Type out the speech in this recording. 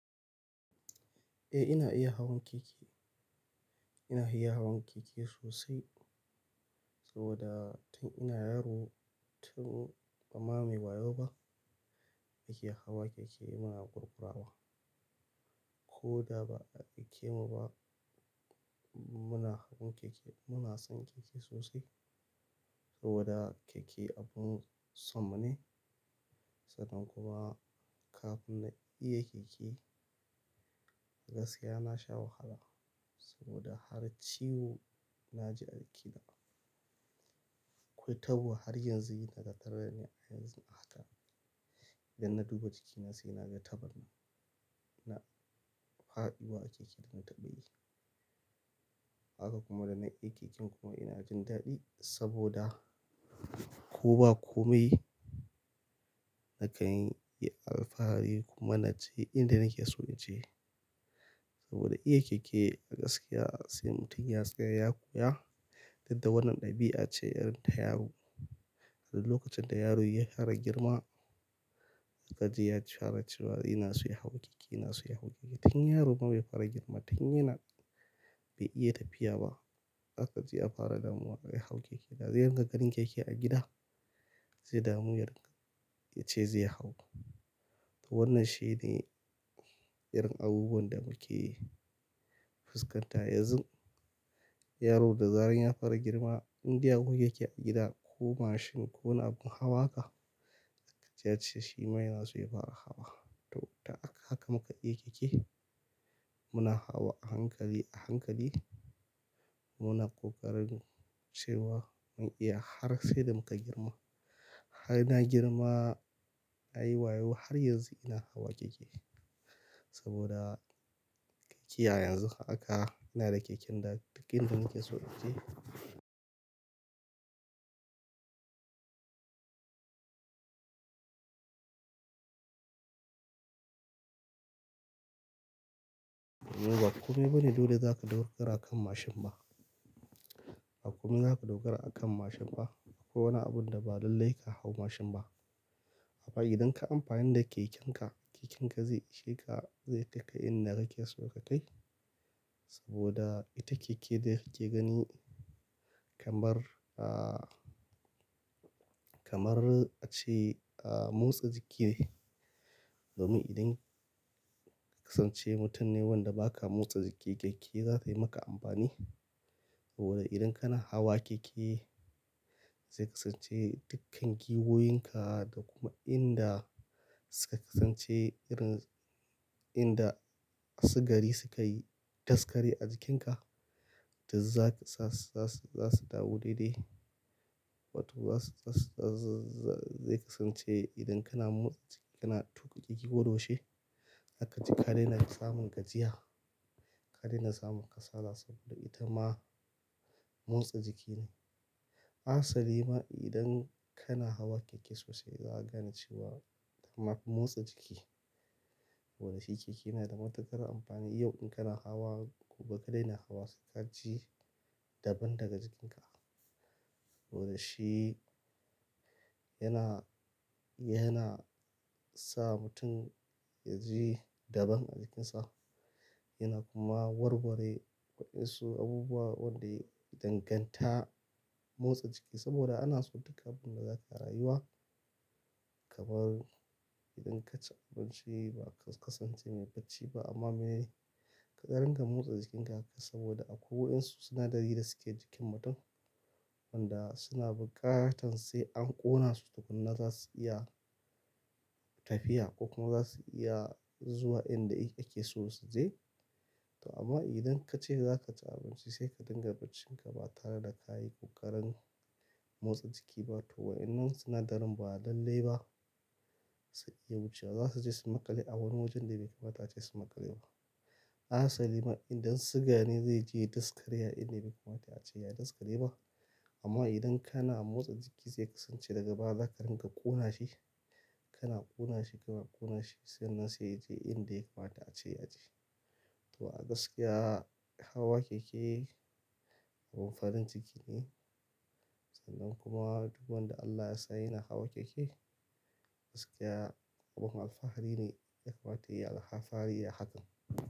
Eh ina iya hawan keke. Ina iya hawan keke sosai saboda tun ina yaro tun bama muyi wayo ba ake hawa keke muna ƙurƙurawa. Ko da ba a aike mu ba muna hawan keke muna son keke sosai saboda keke abun sonmu ne. Sannan kuma kafin na iya keke gaskiya na sha wahala saboda har ciwo na ji a jikina. Akwai tabuwa har yanzu yi takarda ne a yanzu na hatta. Idan na duba jikina sai na ga tabar nan, na faɗuwa a keke da na taɓa yi. Haka kuma da na iya keken kuma ina jin daɗi saboda ko ba kome yi nakan yi alfahari kuma na je inda nake so naje. Saboda iya keke a gaskiya sai mutum ya tsaya ya koya. Dan da wannan ɗabi'a ce irin ta yaro. Duk lokacin da yaro ya fara girma, ka ji ya cebfara cewa yana so ya hau keke, yana so ya hau keke. Tun yaro fa bai fara girma tun yana bai iya tafiya ba haka zai fara damuwa da ya hau keke. Da zai ringa ganin keke a gida zai damu ya ringa ya ce zai hau. To wannan shine irin abubuwan da muke fuskanta yanzu. Yaro da zarar ya fara girma indai a gun da yake a gida ko mashin ko wani abun hawa haka, za ka ji ya ce shi ma yana so ya fara hawa. To ta haka haka muka iya keke. Muna hawa a hankali, a hankali. Muna ƙoƙarin cewa mun iya har sai da muka girma. Har na girma, na yi wayo har yanzu ina hawa keke saboda keke a yanzu haka ina da keken da duk inda nake so in je. Ba kome bane dole zaka daukar a kan mashin ba. Ba kome zaka dogara a kan mashin ba ko wani abun da ba lallai ka hau mashin ba. Amma idan ka amfani da keken ka, keken ka zai ishe ka, zai kaika inda kake so ka kai saboda ita keke da kake gani kamar, ah, kamar a ce, ah, motsa jiki ne. Domin idan ka kasance mutum ne wanda ba ka motsa jiki keke za tayi maka amfani. Saboda idan kana hawa keke zai kasance dukkan giwoyin ka da kuma inda suka kasance irin inda sigari suka yi daskare a jikin ka, to za su, za su, za su dawo daidai. Wato za su, za su, za su zai kasance idan kana motsa jiki kana tuƙa keke ko doshi za ka ji ka daina samun gajiya, ka daina samun kasala saboda ita ma motsa jiki ne. Asali ma idan kana hawa keke sosai za a gane cewa tama fi motsa jiki. Wadashi keke yana da matuƙar amfani. Yau in kana hawa gobe ka daina hawa suka ji daban daga jikin ka. Saboda shi yana, yana sa mutum ya ji daban a jikin sa. Yana kuma warware waɗansu abubuwa wanda ya danganta motsa jiki saboda ana so duk abin da zaka yi a rayuwa kamar idan ka ci abinci ba ka kasance mai bacci ba amma me ka rinka motsa jikin ka haka saboda akwai waɗansu sinadari da suke jikin mutum wanda suna buƙatar sai an ƙona su tukuna za su iya tafiya ko kuma za su iya zuwa inda ake so su je. To amma idan ka ce za ka ci abinci sai ka dinga bacci ka ba tare da ka yi ƙoƙarin motsa jiki ba toh waɗannan sinadarin ba lallai ba su iya wucewa. Za su je su maƙale a wani wajen da bai kamata ace su maƙale ba. Asali ma idan siga ne zai je ya daskare a inda bai kamata ace ya daskare ba. Amma idan kana motsa jiki zai kasance daga baya za ka rinka ƙona shi. Kana ƙona shi kuma ƙona shi sannan sai ya je inda ya kamata ace ya je. To a gaskiya hawa keke abin farin ciki ne. Sannan kuma duk wanda Allah ya sa yana hawa keke gaskiya abun alfahari ne ya kamata ya yi alfahari a hakan.